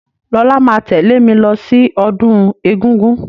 Lọlá máa tẹ̀lẹ́ mí lọ sí ọdún egúngún.